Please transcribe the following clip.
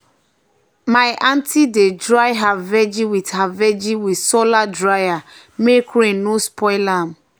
my aunty dey dry her vegi with her vegi with solar dryer make rain no spoil am.